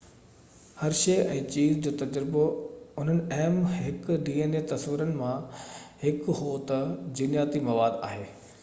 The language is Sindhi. هرشي ۽ چيز جو تجربو انهن اهم تصورن مان هڪ هو تہ dna هڪ جينياتي مواد آهي